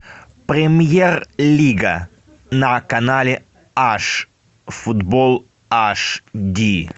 премьер лига на канале аш футбол ашди